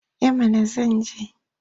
Eh mana zan je.